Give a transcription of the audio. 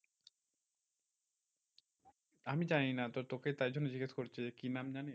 আমি জানি না তোকে তাই জন্য জিজ্ঞেস করছি যে, কি নাম জানিস?